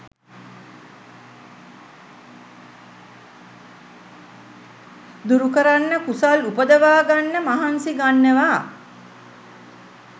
දුරුකරන්න කුසල් උපදවා ගන්න මහන්සි ගන්නවා